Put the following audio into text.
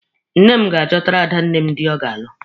Nne m ga-achọtara adanne m dị ọ ga-alụ.